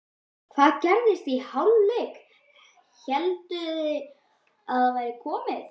Hvað gerðist í hálfleik, hélduð þið að þetta væri komið?